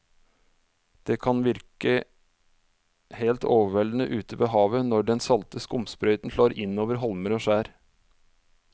Det kan virke helt overveldende ute ved havet når den salte skumsprøyten slår innover holmer og skjær.